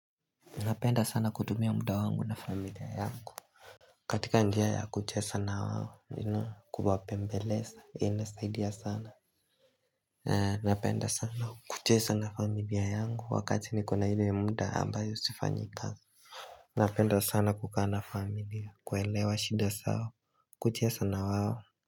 Napenda sana kutumia muda wangu na familia yangu. Katika njia ya kuchesa na wawo, nina kubwape mbeleza, ina saidiya sana. Napenda sana kuchesa na familia yangu wakati nikuna hili ya muda ambayo sifanyikazi. Napenda sana kukana familia, kuelewa shida sao. Kuchesa na wawo.